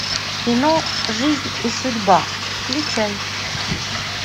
кино жизнь и судьба включай